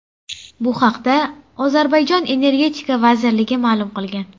Bu haqda Ozarbayjon Energetika vazirligi ma’lum qilgan .